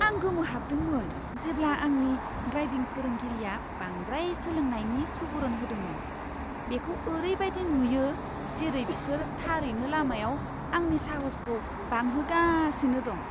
आं गोमोहाबदोंमोन जेब्ला आंनि ड्राइभिं फोरोंगिरिया बांद्राय सोलोंनायनि सुबुरुन होदोंमोन। बेखौ ओरैबादि नुयो जेरै बिसोर थारैनो लामायाव आंनि साहसखौ बांहोगासिनो दं!